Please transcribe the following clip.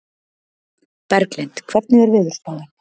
Berglind, hvernig er veðurspáin?